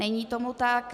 Není tomu tak.